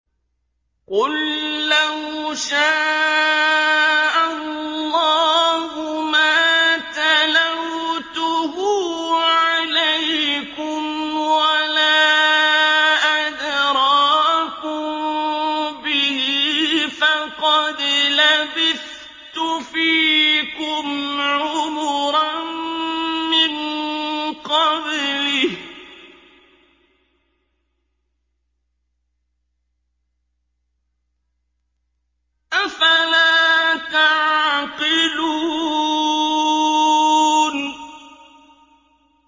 قُل لَّوْ شَاءَ اللَّهُ مَا تَلَوْتُهُ عَلَيْكُمْ وَلَا أَدْرَاكُم بِهِ ۖ فَقَدْ لَبِثْتُ فِيكُمْ عُمُرًا مِّن قَبْلِهِ ۚ أَفَلَا تَعْقِلُونَ